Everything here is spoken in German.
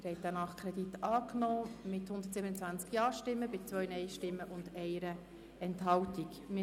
Sie haben diesen Nachkredit mit 127 Ja- gegen 2 Nein-Stimmen bei 1 Enthaltung angenommen.